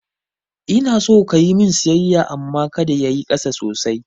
Ina so kayi min saisaya amma kada yayi ƙasa sosai